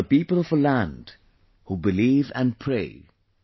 we are the people of a land, who believe and pray